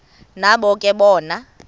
nabo ke bona